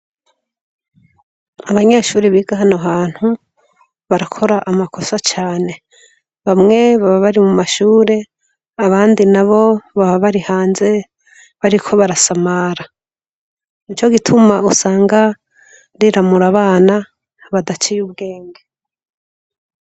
Abanyeshure biga hano hantu barakora amakosa cane bamwe baba bari mu mashure abandi nabo baba bari hanze bariko barasamara nico gituma usanga riramura abana badaciye ubwenge.